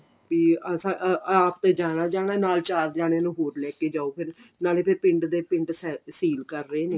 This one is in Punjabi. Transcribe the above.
ਤੇ ah ਆਪ ਤੇ ਜਾਣਾ ਈ ਜਾਣਾ ਨਾਲ ਚਾਰ ਜਾਣੇਆਂ ਨੂੰ ਹੋਰ ਲੈਕੇ ਜਾਓ ਫੇਰ ਨਾਲੇ ਫਿਰ ਪਿੰਡ ਦੇ ਪਿੰਡ ਸੀਲ ਕਰ ਰਹੇ ਨੇ